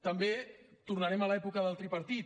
també tornarem a l’època del tripartit